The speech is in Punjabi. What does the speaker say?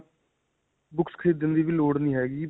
books ਖਰੀਦਣ ਦੀ ਵੀ ਲੋੜ ਨਹੀਂ ਹੈਗੀ.